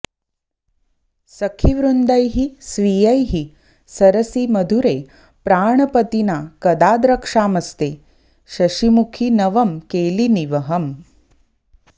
सखीवृन्दैः स्वीयैः सरसि मधुरे प्राणपतिना कदा द्रक्ष्यामस्ते शशिमुखि नवं केलिनिवहम्